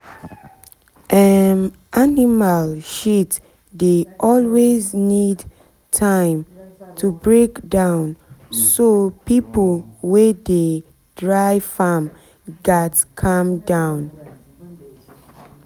um animal shit dey always need time to break down so pipo wey dey pipo wey dey farm gats calm down um